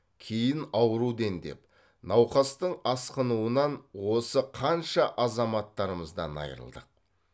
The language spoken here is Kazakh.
кейін ауру дендеп науқастың асқынуынан осы қанша азаматтарымыздан айрылдық